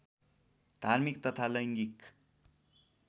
धार्मिक तथा लैङ्गिक